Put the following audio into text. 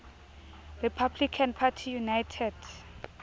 republican party united